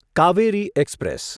Kaveri express